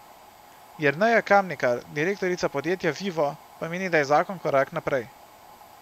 Jerneja Kamnikar, direktorica podjetja Vivo, pa meni, da je zakon korak naprej.